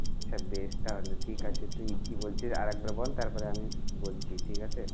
আচ্ছা বেশ তাহলে ঠিক আছে তুই কি বলছিস আর একবার বল তারপরে আমি বলছি। ঠিক আছে?